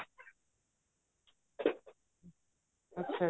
ਅੱਛਾ ਜੀ